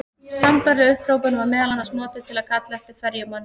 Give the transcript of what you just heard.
Sambærileg upphrópun var meðal annars notuð til að kalla eftir ferjumanni.